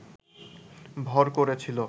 ভর করেছিল